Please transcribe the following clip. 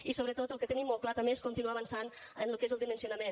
i sobretot el que tenim molt clar també és continuar avançant en lo que és el dimensionament